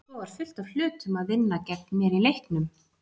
Svo var fullt af hlutum að vinna gegn mér í leiknum.